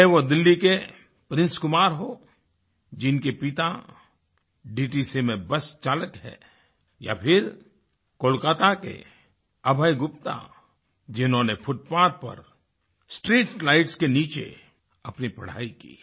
चाहे वो दिल्ली के प्रिंस कुमार हों जिनके पिता डीटीसी में बस चालक हैं या फिर कोलकाता के अभय गुप्ता जिन्होंने फुटपाथ पर स्ट्रीट लाइट्स के नीचे अपनी पढ़ाई की